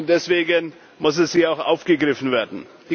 Deswegen muss es hier auch aufgegriffen werden.